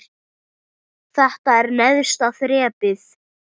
Þetta er neðsta þrepið.